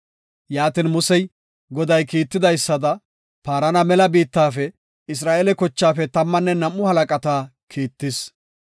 Yaatin Musey Goday kiitidaysada Paarana mela biittafe Isra7eele kochaafe tammanne nam7u halaqata kiittis.